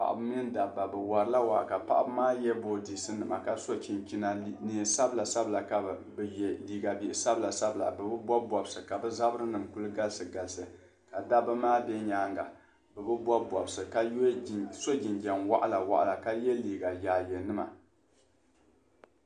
Paɣaba ni dabba bi wari la waa ka paɣaba maa so boodiisinima ka so chinchina neen' sabila sabila ka bi ye liiga bihi sabila bɛ bi bobi bobsi ka bi zabiri nim ku galisi galisi ka dabba maa bɛ nyaanga bɛ bi bobi bobsi ka so jinjam waɣila waɣila ka ye liiga yaaye nima.